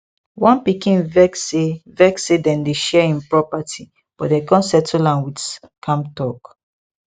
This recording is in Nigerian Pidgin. one pikin vex say vex say dem dey share im property but dem come settle am with calm talk